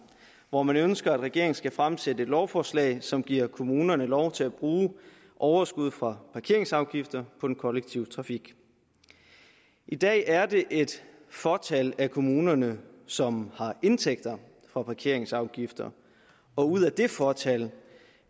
hvor man ønsker at regeringen skal fremsætte et lovforslag som giver kommunerne lov til at bruge overskud fra parkeringsafgifter på den kollektive trafik i dag er det et fåtal af kommunerne som har indtægter fra parkeringsafgifter og ud af det fåtal